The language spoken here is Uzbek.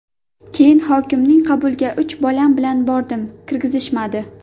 Keyin hokimning qabuliga uch bolam bilan bordim, kirgizishmadi.